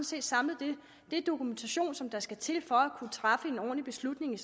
set samlet den dokumentation som der skal til for at kunne træffe en ordentlig beslutning i